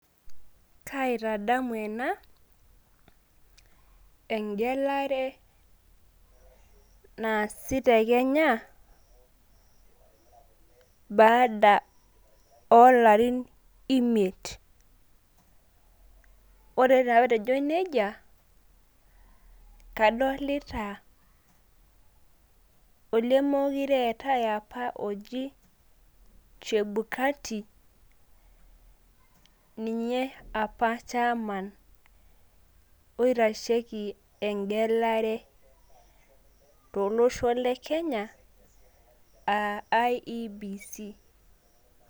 kaai tadamu enaa eng'elare nasii te kenya baada olarin imiet..wore patejoo nejiaa kadolta olemokure etaaii oji chebukati ninye apa chairman eng'elare tolosho le kenya aa IEBC